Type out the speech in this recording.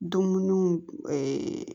Dumuniw